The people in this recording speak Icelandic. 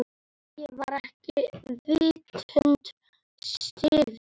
Ég var ekki vitund syfjuð.